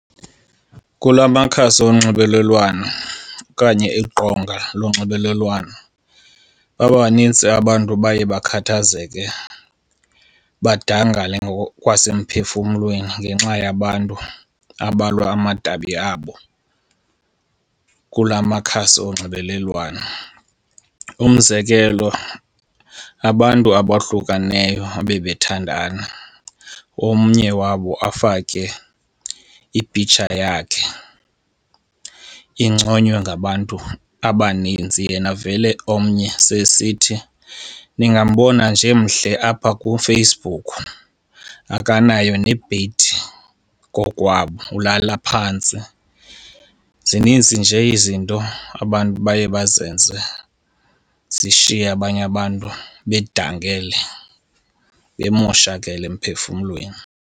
Kula makhasi onxibelelwano okanye iqonga lonxibelelwano baba banintsi abantu baye bakhathazeke, badangale ngokwasemphefumlweni ngenxa yabantu abalwa amadabi abo kulamakhasi onxibelelwano. Umzekelo, abantu abahlukeneyo ababethandana, omnye wabo afake i-picture yakhe inconywe ngabantu abaninzi yena vele omnye sesithi ningambona nje emhle apha kuFacebook akanayo nebhedi kokwabo, ulala phantsi. Zinintsi nje izinto abantu baye bazenze zishiye abanye abantu bedangele bemoshakele emphefumlweni.